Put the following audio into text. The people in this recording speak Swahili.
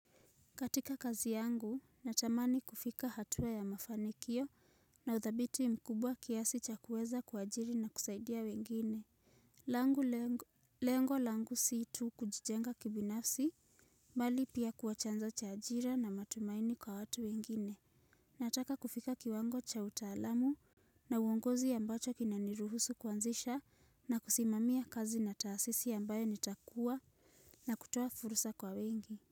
Katika kazi yangu, natamani kufika hatua ya mafanikio na udhabiti mkubwa kiasi cha kuweza kwa ajiri na kusaidia wengine. Lengo lango si tu kujijenga kibinafsi, bali pia kua chanzo cha ajira na matumaini kwa watu wengine. Nataka kufika kiwango cha utaalamu na uongozi ambacho kinaniruhusu kuanzisha na kusimamia kazi na taasisi ambayo nitakuwa nakutoa fursa kwa wengi.